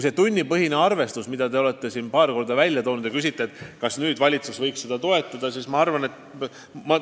Te olete paar korda viidanud töötasu tunnipõhisele arvestusele ja soovite teada, kas valitsus võiks seda toetada.